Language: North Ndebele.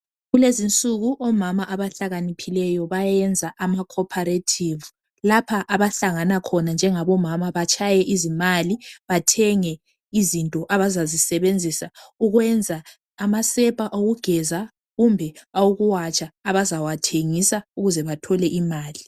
Kulezi insuku omama abahlakaniphileyo bayenza ama "Cooperative " lapha abahlangana khona njengabomama batshaye izimali bathenge into abazazisebenzisa ukwenza amasepa okugeza kumbe awokuwatsha abazawathengisa ukuze bathole imali.